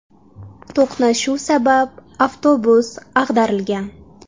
To‘qnashuv sabab avtobus ag‘darilgan.